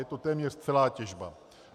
Je to téměř celá těžba.